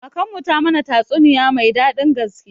Kakanmu ta mana tatsuniya mai daɗin gaske.